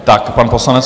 Tak, pan poslanec.